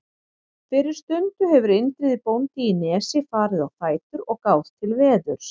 Fyrir stundu hefur Indriði bóndi í Nesi farið á fætur og gáð til veðurs.